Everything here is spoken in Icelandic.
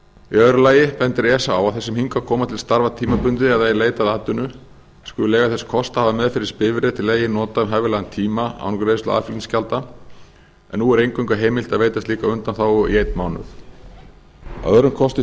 í öðru lagi bendir esa á að þeir sem hingað koma til starfa tímabundið eða í leit að atvinnu skuli eiga þess kost að hafa meðferðis bifreið til eigin nota um hæfilegan tíma án greiðslu aðflutningsgjalda en nú er eingöngu heimilt að veita slíka undanþágu í einn mánuð að öðrum kosti